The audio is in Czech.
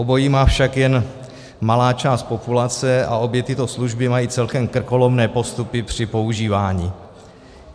Obojí má však jen malá část populace a obě tyto služby mají celkem krkolomné postupy při používání.